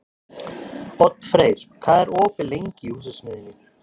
Oddfreyr, hvað er opið lengi í Húsasmiðjunni?